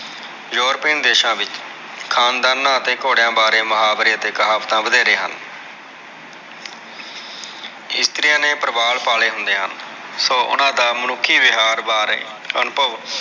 europian ਦੇਸ਼ਾ ਵਿਚ ਖਾਨਦਾਨ ਅਤੇ ਘੋੜੇਆਂ ਬਾਰੇ ਮੁਹਾਵਰੇ ਅਤੇ ਕਹਾਵਤ ਵਧੇਰੇ ਹਨ ਕਰੀਏ ਨੇ ਪਰਿਵਾਰ ਪਾਲ਼ੇ ਹੁੰਦੇ ਹਨ ਸੋ ਓਹਨਾ ਦਾ ਮਨੁੱਖੀ ਵਿਹਾਰ ਬਾਰੇ ਅਨੁਭਵ